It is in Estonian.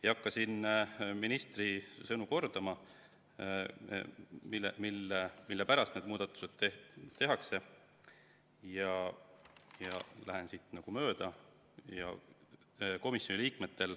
Ei hakka ministri sõnu kordama, miks need muudatused tehakse, ja lähen sellest mööda.